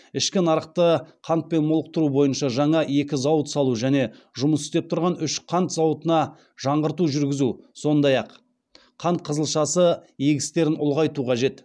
ішкі нарықты қантпен молықтыру бойынша жаңа екі зауыт салу және жұмыс істеп тұрған үш қант зауытына жаңғырту жүргізу сондай ақ қант қызылшасы егістерін ұлғайту қажет